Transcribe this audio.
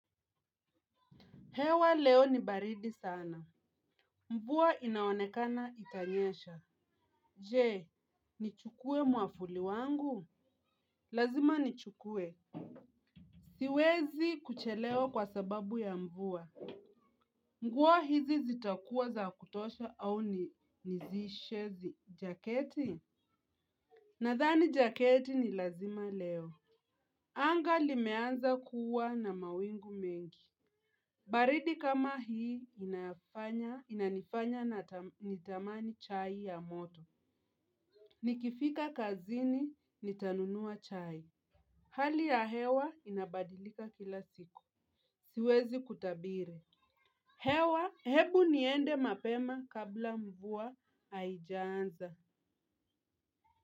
Hewa leo ni baridi sana. Mvua inaonekana itanyesha. Je, nichukue mwavuli wangu? Lazima nichukue siwezi kuchelewa kwa sababu ya mvua. Mvua hizi zitakuwa za kutosha au nivae jaketi? Nadhani jaketi ni lazima leo. Anga limeanza kuwa na mawingu mengi. Baridi kama hii inanifanya na nitamani chai ya moto. Nikifika kazini nitanunua chai. Hali ya hewa inabadilika kila siku. Siwezi kutabiri. Hewa hebu niende mapema kabla mvua haijaanza.